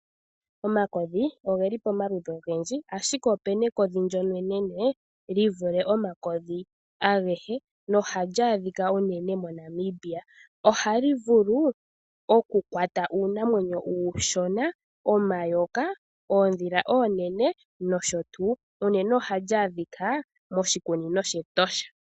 Omakodhi ogeli pomaludhi ogendji, ashike opena ekodhi ndyono enene li vule omakodhi agehe. Ohali adhika unene moNamibia ohali vulu okukwata uunamwenyo uushona , omayoka, oondhila oonene nosho tuu, unene ohali adhika moshikunino shEtosha.